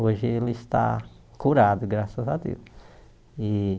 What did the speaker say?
Hoje ele está curado, graças a Deus e.